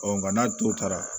nka n'a tora